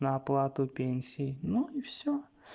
на оплату пенсии ну и всё